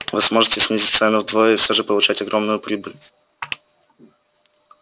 вы сможете снизить цену вдвое и всё же получать огромную прибыль